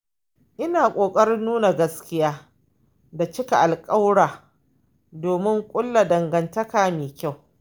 Ina ƙoƙarin nuna gaskiya da cika alƙawura domin ƙulla dangantaka mai kyau.